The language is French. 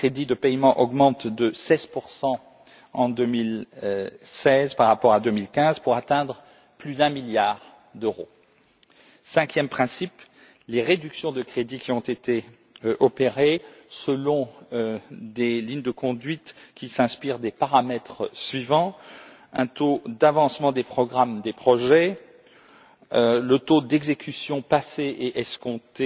Les crédits de paiement augmentent de 16 en 2016 par rapport à 2015 pour atteindre plus d'un milliard d'euros. Cinquième principe les réductions de crédits qui ont été opérées selon des lignes de conduite qui s'inspirent de plusieurs paramètres, à savoir un taux d'avancement des programmes des projets, le taux d'exécution passé et escompté